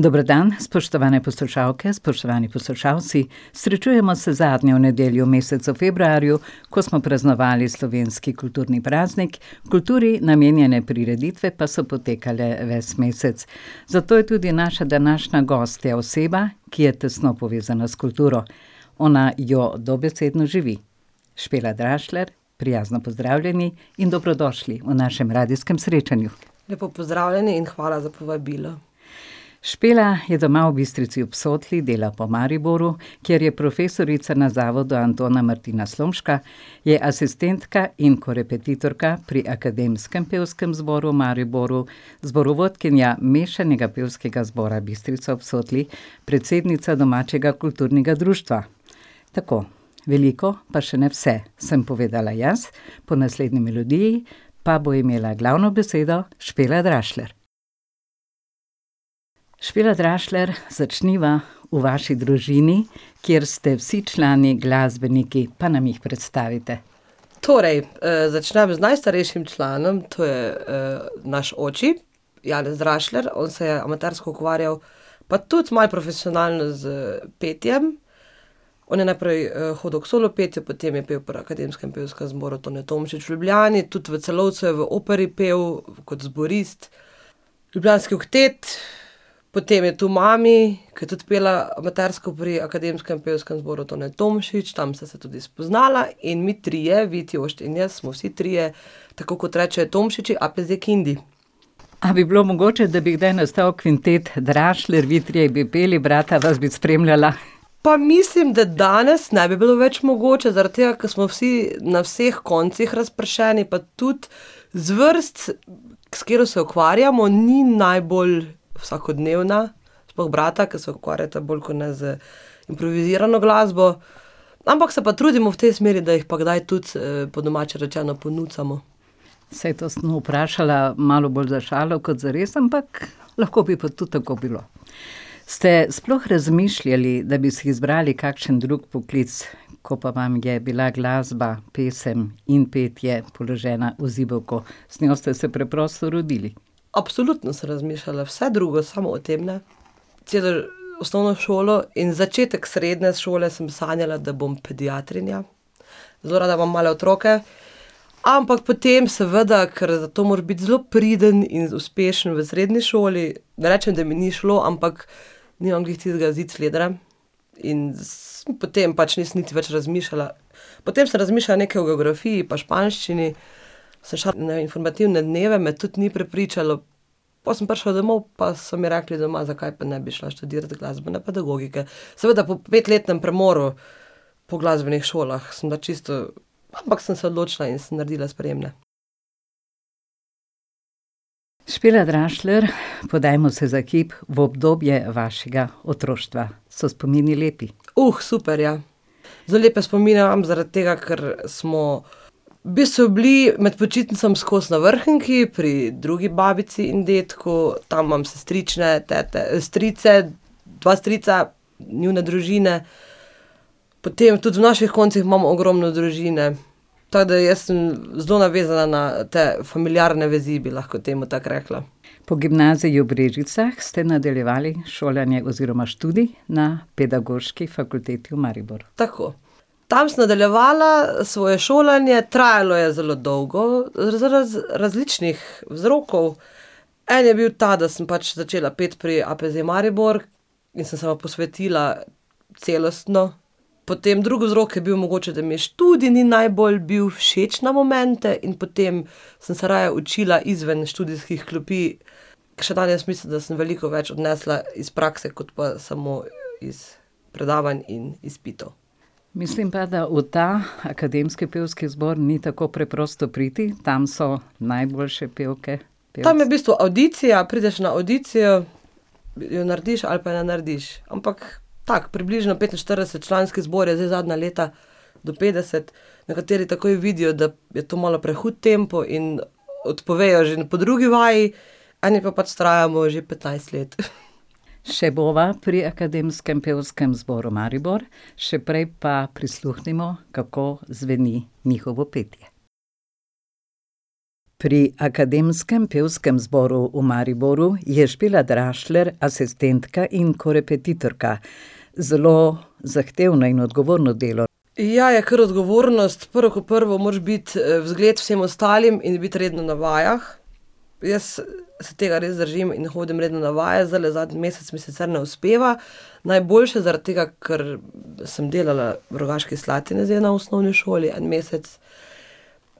Dober dan, spoštovane poslušalke, spoštovani poslušalci. Srečujemo se zadnjo nedeljo v mesecu februarju, ko smo praznovali slovenski kulturni praznik, kulturi namenjene prireditve pa so potekale ves mesec. Zato je tudi naša današnja gostja oseba, ki je tesno povezana s kulturo. Ona jo dobesedno živi. [ime in priimek] prijazno pozdravljeni in dobrodošli v našem radijskem srečanju. Lepo pozdravljeni in hvala za povabilo. Špela je doma v Bistrici ob Sotli, dela pa v Mariboru, kjer je profesorica na Zavodu Antona Martina Slomška, je asistentka in korepetitorka pri Akademskem pevskem zboru v Mariboru, zborovodkinja Mešanega pevskega zbora Bistrica ob Sotli, predsednica domačega kulturnega društva. Tako. Veliko, pa še ne vse, sem povedala jaz, po naslednji melodiji pa bo imela glavno besedo [ime in priimek] [ime in priimek] , začniva v vaši družini, kjer ste vsi člani glasbeniki, pa nam jih predstavite. Torej, začnem z najstarejšim članom, to je naš oči, [ime in priimek] . On se je amatersko ukvarjal, pa tudi malo profesionalno, s petjem. On je najprej hodil k solo petju, potem je pel pri Akademskem pevskem zboru Tone Tomšič v Ljubljani, tudi v Celovcu je v operi pel kot zborist, Ljubljanski oktet. Potem je tu mami, ke je tudi pela amatersko pri Akademskem pevskem zboru Tone Tomšič, tam sta se tudi spoznala in mi trije, Vidi, Jošt in jaz, smo vsi trije tako, kot rečejo Tomšiči, APZ Kindi. A bi bilo mogoče, da bi kdaj nastal kvintet Drašljer, vi trije bi peli, brata vas bi spremljala? Pa mislim, da danes ne bi bilo več mogoče, zaradi tega, ke smo vsi na vseh koncih razpršeni, pa tudi zvrst, s katero se ukvarjamo, ni najbolj vsakodnevna, sploh brata, ke se ukvarjata bolj kot ne z improvizirano glasbo. Ampak se pa trudimo v tej smeri, da jih pa kdaj tudi po domače rečeno, ponucamo. Saj to sem vprašala malo bolj za šalo kot zares, ampak lahko bi pa tudi tako bilo. Ste sploh razmišljali, da bi si zbrali kakšen drug poklic, ko pa vam je bila glasba, pesem in petje položena v zibelko? Z njo ste se preprosto rodili. Absolutno sem razmišljala vse drugo, samo o tem ne. Celo osnovno šolo in začetek srednje šole sem sanjala, da bom pediatrinja. Zelo rada imam male otroke, ampak potem seveda, ker to moraš biti zelo priden in uspešen v srednji šoli, ne rečem, da mi ni šlo, ampak nimam glih tistega zicledra in potem pač nisem niti več razmišljala. Potem sem razmišljala nekaj o geografiji pa španščini, sem šla na informativne dneve, me tudi ni prepričalo. Pol sem prišla domov, pa so mi rekli, pa so mi rekli doma, zakaj pa ne bi šla študirat glasbene pedagogike. Seveda po petletnem premoru po glasbenih šolah, sem bila čisto, ampak sem se odločila in sem naredila sprejemne. [ime in priimek] , podajmo se za hip v obdobje vašega otroštva. So spomini lepi? super, ja. Zelo lepe spomine imam, zaradi tega, ker smo v bistvu bili med počitnicami skozi na Vrhniki pri drugi babici in dedku, tam imam sestrične, tete, strice, dva strica, njune družine. Potem tudi v naših koncih imamo ogromno družine, tako da jaz sem zelo navezana na te familiarne vezi, bi lahko temu tako rekla. Po gimnaziji v Brežicah ste nadaljevali šolanje oziroma študij na Pedagoški fakulteti v Mariboru. Tako. Tam sem nadaljevala svoje šolanje, trajalo je zelo dolgo, različnih vzrokov. En je bil ta, da sem pač začela peti pri APZ Maribor in sem se mu posvetila celostno. Potem drugi vzrok je bil mogoče, da mi študij ni najbolj bil všeč na momente in potem sem se raje učila izven študijskih klopi. Ker še danes mislim, da sem veliko več odnesla iz prakse kot pa samo iz predavanj in izpitov. Mislim pa, da v ta akademski pevski zbor ni tako preprosto priti, tam so najboljše pevke, Tam je v bistvu avdicija, prideš na avdicijo, jo narediš ali pa ne narediš. Ampak tako, približno petinštiridesetčlanski zbor je zdaj zadnja leta, do petdeset. Nekateri takoj vidijo, da je to malo prehud tempo in odpovejo že po drugi vaji, eni pa pač vztrajamo že petnajst let. Še bova pri Akademskem pevskem zboru Maribor, še prej pa prisluhnimo, kako zveni njihovo petje. Pri Akademskem pevskem zboru v Mariboru je [ime in priimek] asistentka in korepetitorka. Zelo zahtevno in odgovorno delo. Ja, je kar odgovornost. Prvo kot prvo, moraš biti zgled vsem ostalim in biti redno na vajah. Jaz se tega res držim in hodim redno na vaje, zdajle zadnji mesec mi sicer ne uspeva. Najboljše zaradi tega, ker sem delala v Rogaški Slatini zdaj na osnovni šoli en mesec.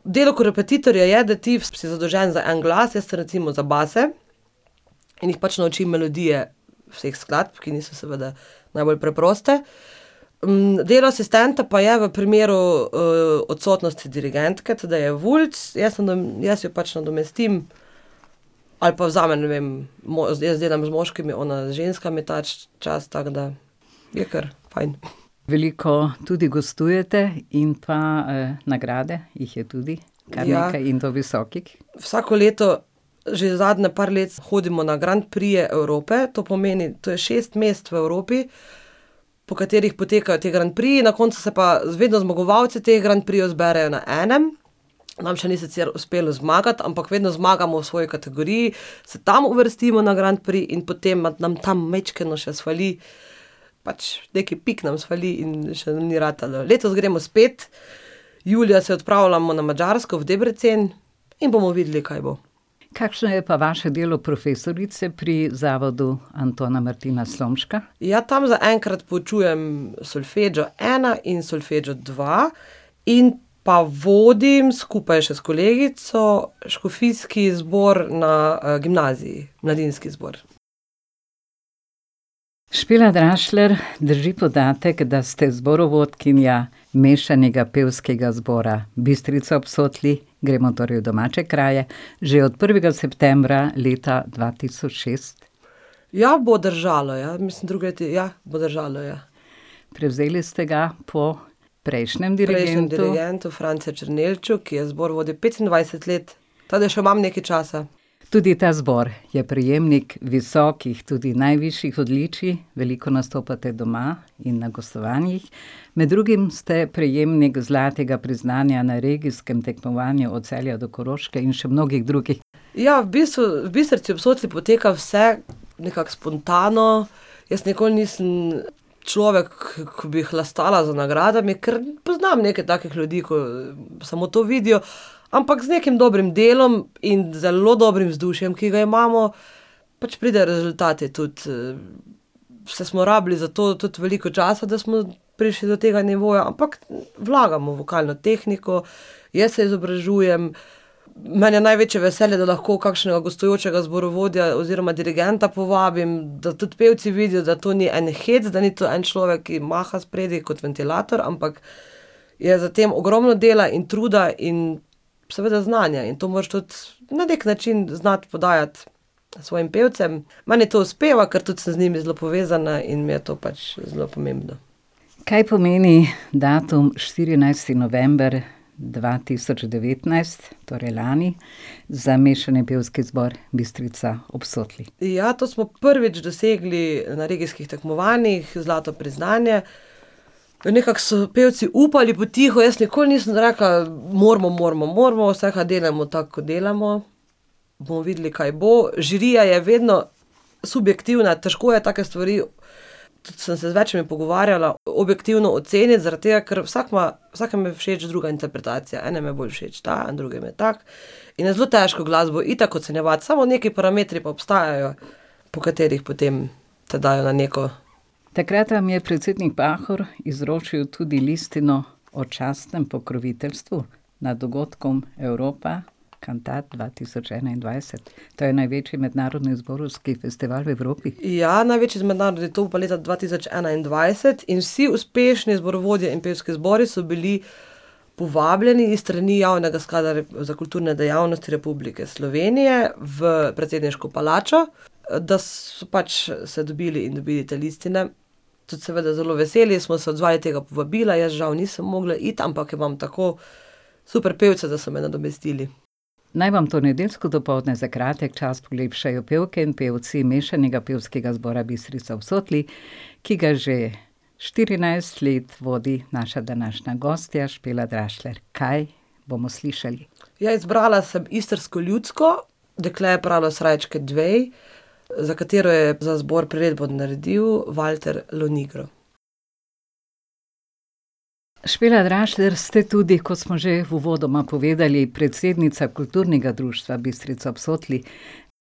Delo korepetitorja je, da ti si zadolžen za en glas, jaz recimo za base. In jih pač naučim melodije vseh skladb, ki niso seveda najbolj preproste. delo asistenta pa je, v primeru odsotnosti dirigentke, [ime in priimek] jaz jaz jo pač nadomestim ali pa vzamem, ne vem, jaz delam z moškimi, ona z ženskami ta čas, tako da. Je kar fajn. Veliko tudi gostujete in pa nagrade, jih je tudi Ja. kar nekaj in to visokih. Vsako leto, že zadnje par let, hodimo na Grand prixe Evrope, to pomeni, to je šest mest v Evropi, po katerih potekajo ti Grand prixi, na koncu se pa vedno zmagovalci teh Grand prixev zberejo na enem. Nam še ni sicer uspelo zmagati, ampak vedno zmagamo v svoji kategoriji, se tam uvrstimo na Grand prix in potem nam tam majčkeno še sfali. Pač, nekaj pik nam sfali in še nam ni ratalo, letos gremo spet. Julija se odpravljamo na Madžarsko v Debrecen in bomo videli, kaj bo. Kakšno je pa vaše delo profesorice pri Zavodu Antona Martina Slomška? Ja, tam zaenkrat poučujem Solfeggio ena in Solfeggio dva in pa vodim, skupaj še s kolegico, škofijski zbor na gimnaziji, mladinski zbor. [ime in priimek] , drži podatek da, ste zborovodkinja Mešanega pevskega zbora Bistrica ob Sotli, gremo torej v domače kraje, že od prvega septembra leta dva tisoč šest? Ja, bo držalo, ja, mislim drugo leto je, ja, bo držalo, ja. Prevzeli ste ga pol prejšnjemu dirigentu. prejšnjemu dirigentu, [ime in priimek] , ki je zbor vodil petindvajset let tako da še imam nekaj časa. Tudi ta zbor je prejemnik visokih, tudi najvišjih odličij, veliko nastopate doma in na gostovanjih. Med drugim ste prejemnik zlatega priznanja na regijskem tekmovanju od Celja do Koroške in še mnogih drugih. Ja, v bistvu v Bistrci ob Sotli poteka vse nekako spontano. Jaz nikoli nisem človek, ko bi hlastala za nagradami, ker poznam nekaj takih ljudi, ko samo to vidijo. Ampak z nekim dobrim delom in zelo dobrim vzdušjem, ki ga imamo, pač pride rezultati tudi Saj smo rabili za to tudi veliko časa, da smo prišli do tega nivoja, ampak vlagamo v vokalno tehniko, jaz se izobražujem. Meni je največje veselje, da lahko kakšnega gostujočega zborovodja oziroma dirigenta povabim, da tudi pevci vidijo, da to ni en hec, da ni to en človek, ki maha spredaj kot ventilator, ampak je za tem ogromno dela in truda in seveda znanja in to moraš tudi na neki način znati podajati svojim pevcem. Meni to uspeva, ker tudi sem z njimi zelo povezana in mi je to pač zelo pomembno. Kaj pomeni datum štirinajsti november dva tisoč devetnajst, torej lani, za Mešani pevski zbor Bistrica ob Sotli? Ja, to smo prvič dosegli na regijskih tekmovanjih zlato priznanje. Nekako so pevci upali potiho, jaz nikoli nisem rekla, moramo, moramo, moramo, tako kot delamo, bomo videli, kaj bo. Žirija je vedno subjektivna, težko je take stvari, tudi sem se z večimi pogovarjala, objektivno oceniti, zaradi tega, ker vsak ima, vsakemu je všeč druga interpretacija, enem je bolj všeč ta, drugim je tako. In je zelo težko glasbo itak ocenjevati, samo neki parametri pa obstajajo po katerih potem te dajo na neko ... Takrat vam je predsednik Pahor izročil tudi listino o častnem pokroviteljstvu na dogodkom Europa cantat dva tisoč enaindvajset. To je največji mednarodni zborovski festival v Evropi. Ja, največji mednarodni, to bo pa leta dva tisoč enaindvajset in vsi uspešni zborovodje in pevski zboru so bili povabljeni iz strani Javnega sklada za kulturne dejavnosti Republike Slovenije v predsedniško palačo, da so pač se dobili in dobili te listine. Tudi seveda zelo veseli smo se odzvali tega povabila, jaz žal nisem mogla iti, ampak imam tako super pevce, da so me nadomestili. Naj vam to nedeljsko dopoldne za kratek čas polepšajo pevke in pevci Mešanega pevskega zbora Bistrica ob Sotli, ki ga že štirinajst let vodi naša današnja gostja [ime in priimek] Kaj bomo slišali? Ja, izbrala sem istrsko ljudsko, Dekle je pralo srajčke dve, za katero je za zbor priredbo naredil [ime in priimek] . [ime in priimek] , ste tudi, kot smo že uvodoma povedali predsednica, kulturnega Društva Bistrica ob Sotli.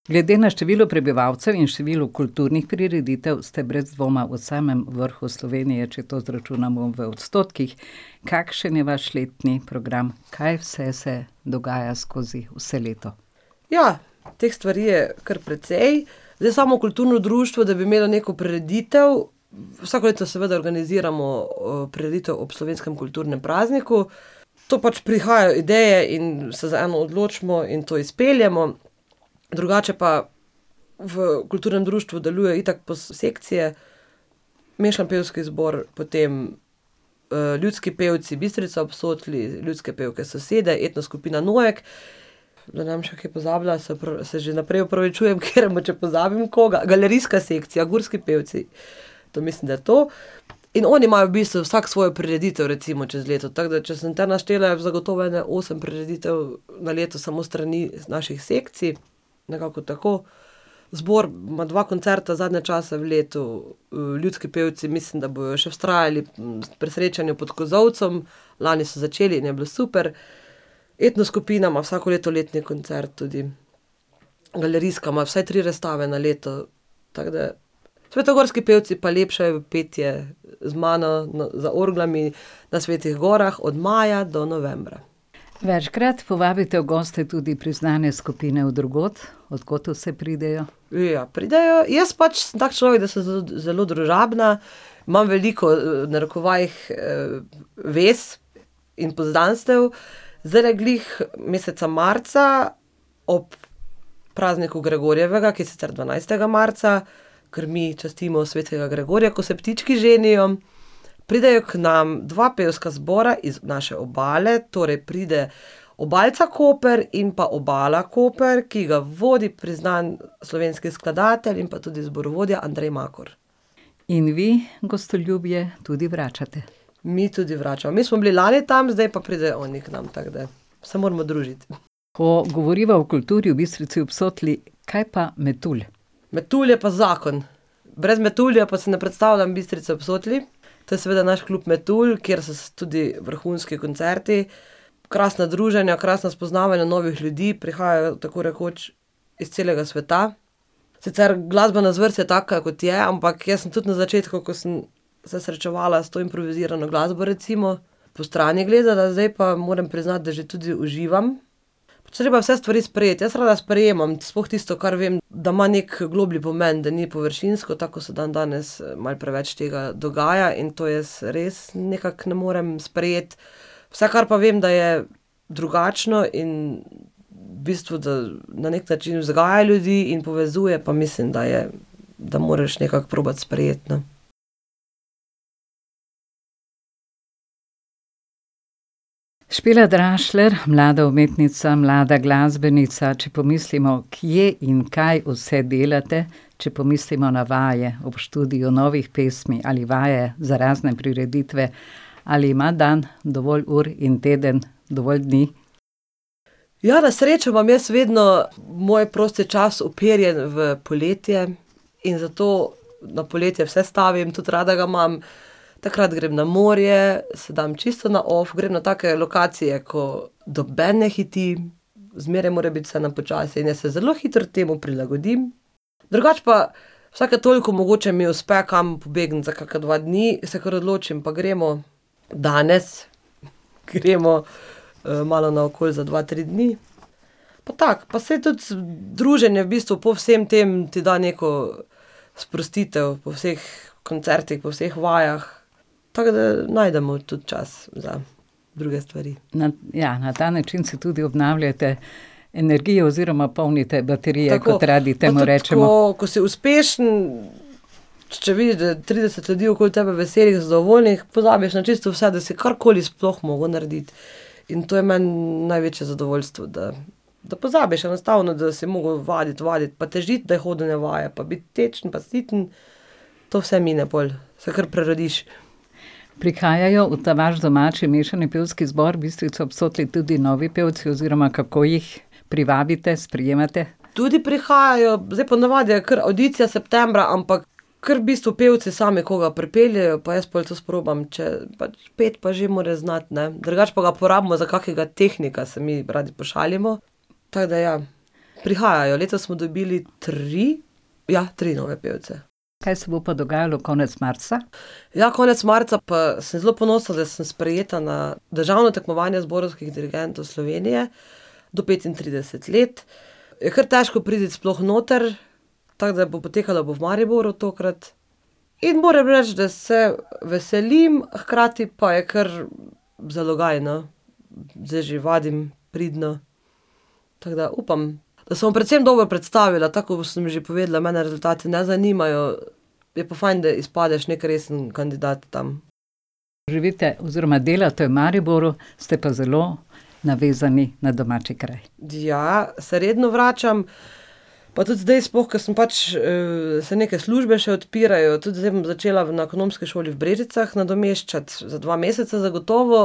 Glede na število prebivalcev in številu kulturnih prireditev ste brez dvoma v samem vrhu Slovenije, če to izračunamo v odstotkih. Kakšen je vaš letni program, kaj vse se dogaja skozi vse leto? Ja, teh stvari je kar precej. Zdaj samo kulturno društvo, da bi imelo neko prireditev, vsako leto seveda organiziramo prireditev ob slovenskem kulturnem prazniku. To pač prihajajo ideje in se za eno odločimo in to izpeljemo. Drugače pa v kulturnem društvu deluje itak sekcije: mešani pevski zbor, potem Ljudski pevci Bistrica ob Sotli, ljudske pevke Sosede, etnoskupina Noek, da ne bom še kaj pozabila, se se že vnaprej opravičujem, ker mogoče pozabim koga, galerijska sekcija, Gurski pevci, to mislim, da je to. In oni imajo v bistvu vsak svojo prireditev recimo čez leto, tako da, če sem te naštela, zagotovo je ene osem prireditev na leto samo s strani naših sekcij, nekako tako. Zbor ima dva koncerta zadnje čase v letu, ljudski pevci mislim, da bojo še vztrajali pri srečanju pod kozolcem, lani so začeli in je bilo super. Etnoskupina ima vsako leto letni koncert tudi, galerijska ima vsaj tri razstave na leto, tako da. Svetogorski pevci pa lepšajo petje z mano za orglami na Svetih gorah od maja do novembra. Večkrat povabite v goste tudi priznane skupine od drugod, od kod vse pridejo? Ja, pridejo, jaz pač sem tako človek, da sem zelo družabna, imam veliko, v narekovajih, vez in poznanstev. Zdajle glih meseca marca ob prazniku gregorjevega, ki je sicer dvanajstega marca, ker mi častimo svetega Gregorja, ko se ptički ženijo. Pridejo k nam dva pevska zbora iz naše obale, torej pride Obalca Koper in pa Obala Koper, ki ga vodi priznan slovenskih skladatelj in pa tudi zborovodja [ime in priimek] . In vi gostoljubje tudi vračate. Mi tudi vračamo. Mi smo bili lani tam, zdaj pa pridejo oni k nam, tako da. Se moramo družiti. Ko govoriva o kulturi v Bistrici ob Sotli, kaj pa metulj? Metulj je pa zakon. Brez metulja pa si ne predstavljam Bistrice ob Sotli. To je seveda naš klub Metulj, kjer so tudi vrhunski koncerti. Krasna druženja, krasna spoznavanja novih ljudi, prihajajo tako rekoč iz celega sveta. Sicer glasbena zvrst je taka, kot je, ampak jaz sem tudi na začetku, ko sem se srečevala s to improvizirano glasbo, recimo, postrani gledala, zdaj pa, moram priznati, da že tudi uživam. Pač treba je vse stvari sprejeti, jaz rada sprejemam, sploh tisto, kar vem, da ima neki globlji pomen, da ni površinsko, tako ko se dandanes malo preveč tega dogaja, in to jaz res nekako ne morem sprejeti. Vse pa, kar vem, da je drugačno in v bistvu, da na neki način vzgaja ljudi in povezuje, pa mislim, da je, da moraš nekako probati sprejeti, ne. [ime in priimek] , mlada umetnica mlada, glasbenica če, pomislimo, kje in kaj vse delate, če pomislimo na vaje ob študiju novih pesmi ali vaje za razne prireditve, ali ima dan dovolj ur in teden dovolj dni? Ja, na srečo imam jaz vedno moj prosti čas uperjen v poletje in zato na poletje vse stavim, tudi rada ga imam. Takrat grem na morje, se dam čisto na off, grem na take lokacije, ko noben ne hiti, zmeraj more biti vse na počasi in jaz se zelo hitro temu prilagodim. Drugače pa, vsake toliko mogoče mi uspe kam pobegniti za kakšne dva dni, se kar odločim pa gremo. Danes gremo malo naokoli za dva, tri dni. Pa tako, pa saj tudi druženje v bistvu po vsem tem ti da neko sprostitev, po vseh koncertih, po vseh vajah. Tako da najdemo tudi čas za druge stvari. Na, ja, na ta način se tudi obnavljate energijo oziroma polnite baterije, kot radi temu rečemo. Tako! Pa tudi, ko ... Ko si uspešen, če vidiš, da trideset ljudi okoli tebe veselih, zadovoljnih, pozabiš na čisto vse, da si karkoli sploh moral narediti. In to je meni največje zadovoljstvo, da da pozabiš enostavno, da si moral vaditi, vaditi pa težiti, da hodijo na vaje pa biti tečen pa siten. To vse mine pol, se kar prerodiš. Prihajajo v ta vaš domači Mešani pevski zbor Bistrica ob Sotli tudi novi pevci oziroma kako jih privabite, sprejemate? Tudi prihajajo, zdaj ponavadi je kar avdicija septembra, ampak ker v bistvu pevci sami koga pripeljejo pa jaz pol to sprobam, če pač, peti pa že more znati, ne. Drugače pa ga porabimo za kakega tehnika, se mi radi pošalimo. Tako da ja, prihajajo, letos smo dobili tri? Ja, tri nove pevce. Kaj se bo pa dogajalo konec marca? Ja, konec marca pa sem zelo ponosna, da sem sprejeta na državno tekmovanje zborovskih dirigentov Slovenije do petintrideset let. Je kar težko priti sploh noter, tako da bo potekala bo v Mariboru tokrat. In moram reči, da se veselim, hkrati pa je kar zalogaj, no. Zdaj že vadim pridno. Tako da upam, da se bom predvsem dobro predstavila, tako kot sem že povedala, mene rezultati ne zanimajo, je pa fajn, da izpadeš neki resen kandidat tam. Živite oziroma delate v Mariboru, ste pa zelo navezani na domači kraj. Ja, se redno vračam. Pa tudi zdaj sploh, ko sem pač se neke službe še odpirajo, tudi zdaj bom začela na ekonomski šoli v Brežicah nadomeščati, za dva meseca zagotovo.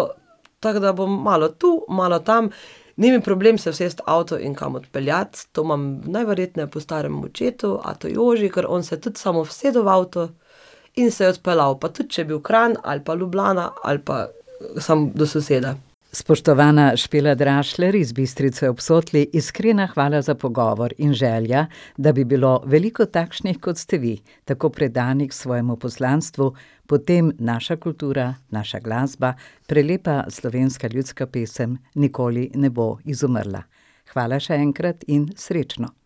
Tako da bom malo tu, malo tam. Ni mi problem se usesti v avto in kam odpeljati, to imam najverjetneje po starem očetu, atu Joži, ker on se tudi samo usedel v avto in se odpeljal. Pa tudi če je bil Kranj ali pa Ljubljana ali pa samo do soseda. Spoštovana [ime in priimek] iz Bistrice ob Sotli, iskrena hvala za pogovor in želja, da bi bilo veliko takšnih, kot ste vi - tako predanih svojemu poslanstvu, potem naša kultura, naša glasba, prelepa slovenska ljudska pesem nikoli ne bo izumrla. Hvala še enkrat in srečno.